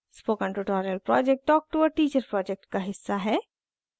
spoken tutorial project talk to a teacher project का हिस्सा है